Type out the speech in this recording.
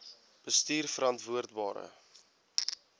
bestuurverantwoordbare